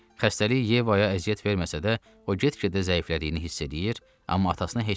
Xəstəlik Yevaya əziyyət verməsə də, o get-gedə zəiflədiyini hiss eləyir, amma atasına heç nə demir.